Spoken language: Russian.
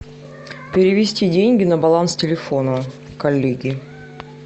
перевести деньги на баланс телефона коллеги